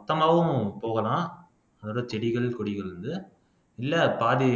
மொத்தமாவும் போகலாம் அதோட செடிகள் கொடிகள் வந்து இல்லை பாதி